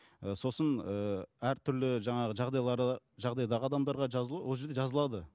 ыыы сосын ыыы әртүрлі жаңағы жағдайлары жағдайдағы адамдарға жазылу ол жерде жазылады